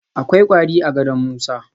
Akwai kwari a gadon Musa